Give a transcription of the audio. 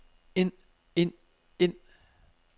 ind ind ind